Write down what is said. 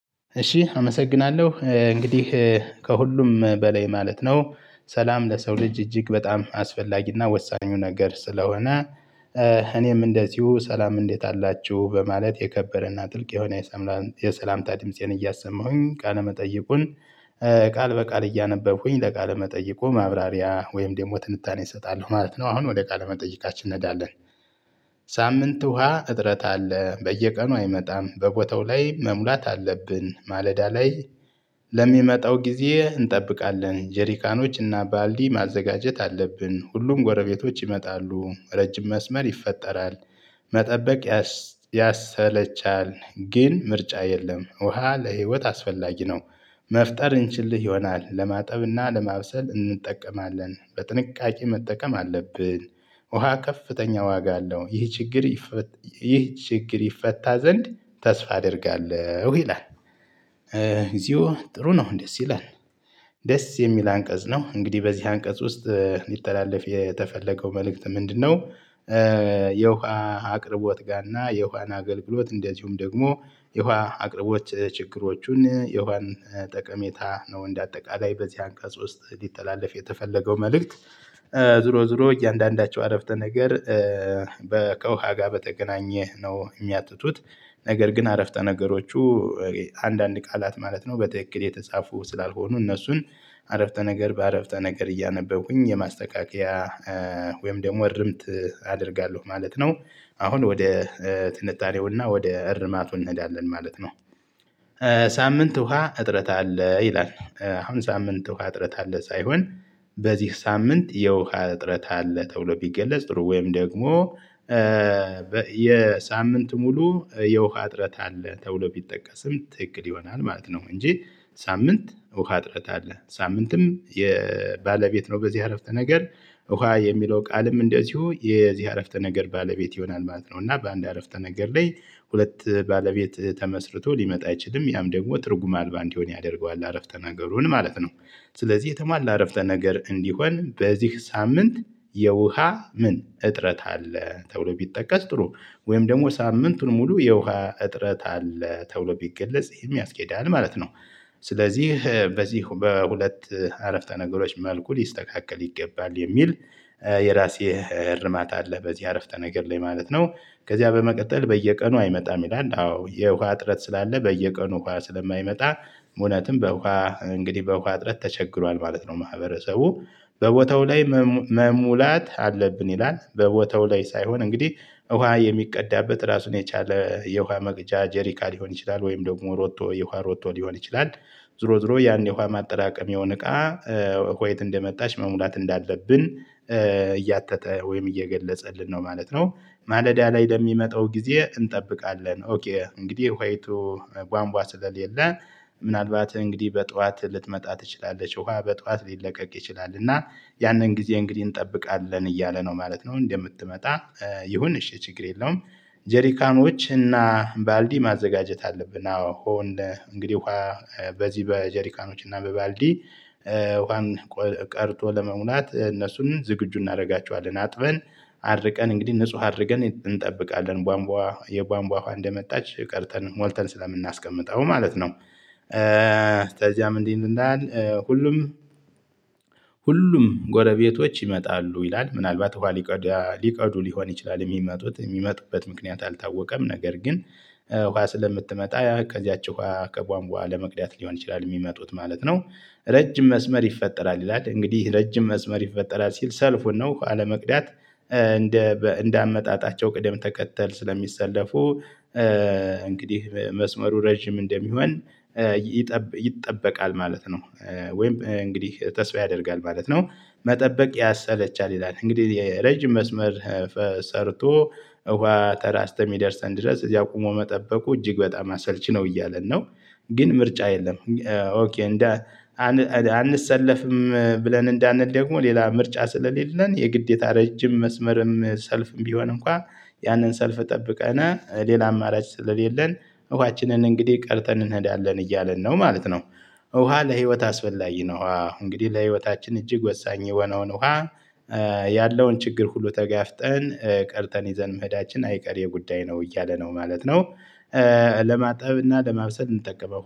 እሺ አመሰግናለሁ እንግዲህ ከሁሉም በላይ ማለት ነው ሰላም ለሰው ልጅ እጅግ በጣም አስፈላጊና ወሳኙ ነገር ስለሆነ። እኔም እንደዚሁ ሰላም እንዴት አላችሁ በማለት የከበረና ጥልቅ የሆነ። የሰላምታ ድምፄን እያሰማሁኝ ቃለ መጥይቁን። ቃል በቃል እያነበብኩኝ ለቃል መጠየቁ ማብራሪያ ወይም ደግሞ ትንታኔ እሰጣለሁ ማለት ነው። አሁን ወደ ቃለ መጠይቃችን እንሄዳለን። ሳምንት ውሃ እጥረት አለ በየቀኑ አይመጣም በቦታው ላይ መሙላት አለብን ማለዳ ላይ። ለሚመጣው ጊዜ እንጠብቃለን ጀሪካኖችና ባልዲ ማዘጋጀት አለብን ሁሉም ጎረቤቶች ይመጣሉ ረጅም መስመር ይፈጠራል። መጠበቅ ያሰለቻል ግን ምርጫ የለም። ውሃ ለህይወት አስፈላጊ ነው። መፍጠር እንችልህ ይሆናል ለማጠብና ለማብሰል እንጠቀማለን በጥንቃቄ መጠቀም አለብን። ውሃ ከፍተኛ ዋጋ አለው ይህ ችግር። ይህ ችግር ይፈታ ዘንድ ተስፋ አደርጋለሁ ይላል። እግዚኦ ጥሩ ነው እንዴት ይላል? ደስ የሚል አንቀጽ ነው። እንግዲህ በዚህ አንቀጽ ውስጥ ሊተላለፍ የተፈለገው መልእክት ምንድነው? የውሃ አቅርቦት ጋና የውሃን አገልግሎት እንደዚሁም ደግሞ የውሃ አቅርቦት ችግሮቹን የውሃን ጠቀሜታ ነው እንደ አጠቃላይ በዚህ አንቀጽ ውስጥ ሊተላለፍ የተፈለገው መልእክት። ዝሮ ዝሮ እያንዳንዳቸው አረፍተ ነገር በ ከውሃ ጋር በተገናኘ ነው የሚያጠጡት። ነገር ግን አረፍተ ነገሮቹ። አንዳንድ ቃላት ማለት ነው በትክክል የተጻፉ ስላልሆኑ እነሱን። አረፍተ ነገር በአረፍተ ነገር እያነበብኩኝ የማስተካከያ ወይም ደግሞ እርምት አደርጋለሁ ማለት ነው። አሁን ወደ ትንታኔው እና ወደ እርማቱ እንሄዳለን ማለት ነው። ሳምንት ውሃ እጥረት አለ ይላል አሁን ሳምንት ውሃ እጥረት አለ ሳይሆን። በዚህ ሳምንት የውሃ እጥረት አለ ተብሎ ቢገለጽ ጥሩ ወይም ደግሞ የሳምንት ሙሉ የውሃ እጥረት አለ ተብሎ ቢጠቀስም ትክክል ይሆናል ማለት ነው። እንጂ ሳምንት ውሃ ጥረት አለ ሳምንትም የባለቤት ነው በዚህ አረፍተ ነገር። ውሃ የሚለው ቃልም እንደዚሁ የዚህ አረፍተ ነገር ባለቤት ይሆናል ማለት ነው። እና በአንድ አረፍተ ነገር ላይ ሁለት ባለቤት ተመስርቶ ሊመጣ አይችልም ያም ደግሞ ትርጉም አልባ እንዲሆን ያደርገዋል አረፍተ ነገሩን ማለት ነው። ስለዚህ የተሟላ አረፍተ ነገር እንዲሆን በዚህ ሳምንት የውሃ ምን እጥረት አለ ተብሎ ቢጠቀስ ጥሩ። ወይም ደግሞ ሳምንቱን ሙሉ የውሃ እጥረት አለ ተብሎ ቢገለጽ ይሄም ያስኬዳል ማለት ነው። ስለዚህ በዚህ በሁለት አረፍተ ነገሮች መልኩ ሊስተካከል ይገባል የሚል የራሴ እርማታ አለ በዚህ አረፍተ ነገር ላይ ማለት ነው። ከዚያ በመቀጠል በየቀኑ አይመጣም ይላል አዎ የውሃ ጥረት ስላለ በየቀኑ ውሃ ስለማይመጣ። እውነትም በውሃ እንግዲህ በውሃ አጥረት ተቸግሯል ማለት ነው። ማህበረሰቡ በቦታው ላይ መሙላት አለብን ይላል በቦታው ላይ ሳይሆን እንግዲህ ውሃ የሚቀዳበት ራሱን የቻለ የውሃ መቅጃ ጄሪካን ሊሆን ይችላል ወይም ደግሞ ሮቶ የውሃ ሮቶ ሊሆን ይችላል። ዞሮ ዞሮ ያን የውሃ ማጠራቀሚያውን እቃ ዋይት እንደመጣች መሙላት እንዳለብን እያተተ ወይም እየገለጸልን ነው ማለት ነው። ማለዳ ላይ ለሚመጣው ጊዜ እንጠብቃለን ኦኬ እንግዲህ ዋይቱ ቧንቧ ስለሌለን። ምናልባት እንግዲህ በጧት ልትመጣ ትችላለች ውሃ በጠዋት ሊለቀቅ ይችላል እና ያንን ጊዜ እንግዲህ እንጠብቃለን እያለ ነው ማለት ነው እንደምትመጣ። ይሁን እሽ ችግር የለውም። ጀሪካኖች እና ባልዲ ማዘጋጀት አለብን አሁን እንግዲህ በዚህ በጀሪካኖች እና በባልዲ ዋን ቀድቶ ለመሙላት እነሱን ዝግጁ እናደርጋቸዋለን አጥበን አድርቀን እንግዲህ ንጹህ አድርገን እንጠብቃለን ቧንቧ የቧንቧ ውሃ እንደመጣች ቀድተን ሞልተን ስለምናስቀምጠው ማለት ነው። እንደዚያም እንዲህ እንዳልን ሁሉም ሁሉም ጎረቤቶች ይመጣሉ ይላል ምንአልባት ኋሀ ሊቀዱ ሊሆን ይችላል የሚመጡት የሚመጡበት ምክንያት አልታወቀም ነገር ግን። ውሃ ስለምትመጣ ያ ከዚያች ውሃ ከቧንቧ ለመቅዳት ሊሆን ይችላል የሚመጡት ማለት ነው። ረጅም መስመር ይፈጠራል ይላል እንግዲህ ረጅም መስመር ይፈጠራል ሲል ሰልፉን ነው አለመቅዳት እንደ እንደ አመጣጣቸው ቅደም ተከተል ስለሚሰለፉ። እንግዲህ መስመሩ ረጅም እንደሚሆን ይጠበቃል ማለት ነው። ወይም እንግዲህ ተስፋ ያደርጋል ማለት ነው። መጠበቅ ያሰለቻል ይላል እንግዲህ ረጅም መስመር ሰርቶ እውሃ ተራ አስከሚደርሰን ድረስ እዛ ቆሞ መጠበቁ እጅግ በጣም አሰልቺ ነው እያለን ነው። ግን ምርጫ የለም። ኦኬ እንደ አንሰለፍም ብለን እንዳንል ደግሞ ሌላ ምርጫ ስለሌለን የግዴታ ረጅም መስመርም ሰልፍም ቢሆን እንኳን ያንን ሰልፍ እጠብቀናል ሌላ አማራጭ ስለሌለን እዋችንን እንግዲህ ቀድተን እንሄዳለን እያለን ነው ማለት ነው። ውሃ ለህይወት አስፈላጊ ነው ውሃ እንግዲህ ለህይወታችን እጅግ ወሳኝ የሆነውን ውሃ ያለውን ችግር ሁሉ ተጋፍጠን ቀርተን ይዘን መሄዳችን አይቀሬ ጉዳይ ነው እያለ ነው ማለት ነው። ለማጠብ እና ለማብሰል እንጠቀመው